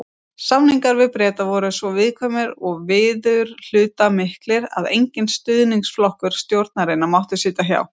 Samningar við Breta voru svo viðkvæmir og viðurhlutamiklir, að enginn stuðningsflokkur stjórnarinnar mátti sitja hjá.